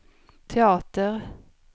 teater